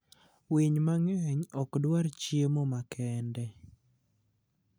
Winy mang'eny ok dwar chiemo makende.